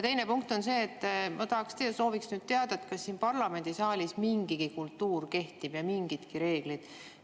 Teine punkt on see, et ma soovin teada, kas siin parlamendisaalis mingigi kultuur kehtib, mingidki reeglid.